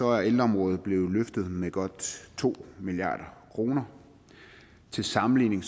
er ældreområdet blev løftet med godt to milliard kroner til sammenligning